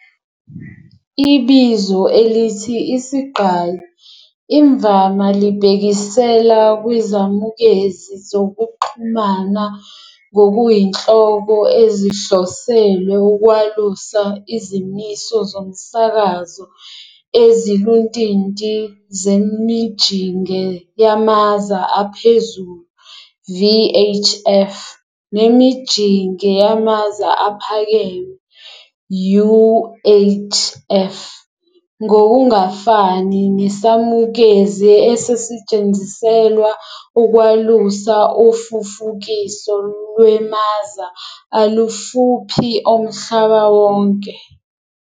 Ibizo elithi "isigqayi" imvama libhekisela kwizamukezi zokuxhumana ngokuyinhloko ezihloselwe ukwalusa izimiso zomsakazo eziluntinti zemijinge yamaza aphezulu VHF nemijinge yamaza aphakeme UHF, ngokungafani, nesamukezi esisetshenziselwa ukwalusa ufufukiso lwemaza alufuphi omhlaba wonke.